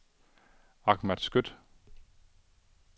Ahmad Skøtt